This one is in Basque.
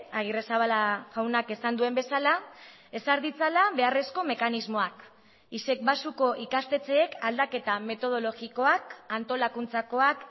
agirrezabala jaunak esan duen bezala ezar ditzala beharrezko mekanismoak isec baxuko ikastetxeek aldaketa metodologikoak antolakuntzakoak